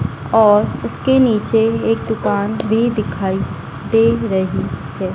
और उसके नीचे एक दुकान भी दिखाई दे रही है।